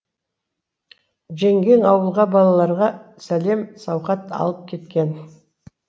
жеңгең ауылға балаларға сәлем сауқат алып кеткен